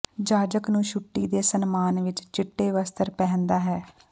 ਜਾਜਕ ਨੂੰ ਛੁੱਟੀ ਦੇ ਸਨਮਾਨ ਵਿੱਚ ਚਿੱਟੇ ਵਸਤਰ ਪਹਿਨਦਾ ਹੈ